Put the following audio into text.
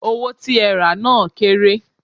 Owó tí ẹ rà á náà kéré.